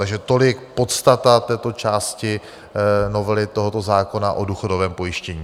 Takže tolik podstata této části novely tohoto zákona o důchodovém pojištění.